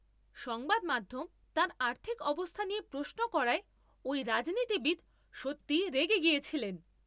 সংবাদ মাধ্যম তাঁর আর্থিক অবস্থা নিয়ে প্রশ্ন করায় ওই রাজনীতিবিদ সত্যিই রেগে গেছিলেন।